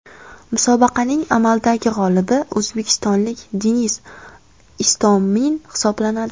Musobaqaning amaldagi g‘olibi o‘zbekistonlik Denis Istomin hisoblanadi.